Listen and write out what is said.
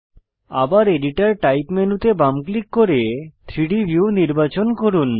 আবার editor type মেনুতে বাম ক্লিক করে 3ডি ভিউ নির্বাচন করুন